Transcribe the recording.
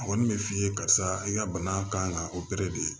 A kɔni bɛ f'i ye karisa i ka bana kan ka de